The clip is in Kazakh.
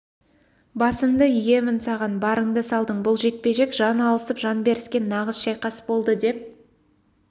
басымды иемін саған барыңды салдың бұл жекпе-жек жан алысып жан беріскен нағыз шайқас болды деп